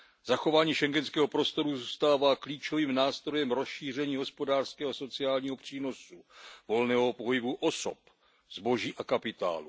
Zachování schengenského prostoru zůstává klíčovým nástrojem rozšíření hospodářského a sociálního přínosu, volného pohybu osob, zboží a kapitálu.